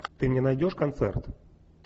ты мне найдешь концерт